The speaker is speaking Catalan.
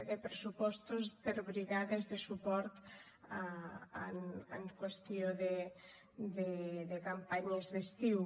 de pressupostos per a brigades de suport en qüestió de campanyes d’estiu